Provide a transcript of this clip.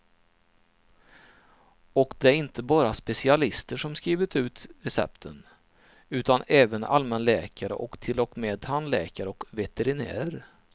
Och det är inte bara specialister som skrivit ut recepten, utan även allmänläkare och till och med tandläkare och veterinärer.